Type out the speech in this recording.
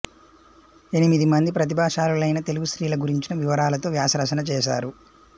ఎనిమిదిమంది ప్రతిభాశాలులైన తెలుగు స్త్రీల గురించిన వివరాలతో వ్యాసరచన చేసారు